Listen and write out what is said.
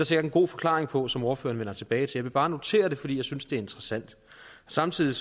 sikkert en god forklaring på som ordføreren vender tilbage til jeg vil bare notere det fordi jeg synes det er interessant samtidig